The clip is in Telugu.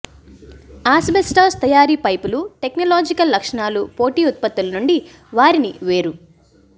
ఆస్బెస్టాస్ తయారు పైపులు టెక్నలాజికల్ లక్షణాలు పోటీ ఉత్పత్తుల నుండి వారిని వేరు